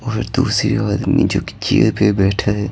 और दूसरे आदमी जो कि चेयर पे बैठा है।